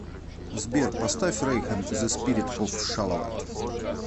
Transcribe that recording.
сбер поставь рэйхан зэ спирит оф шалават